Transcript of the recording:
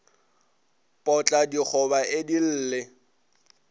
potla digoba e di lle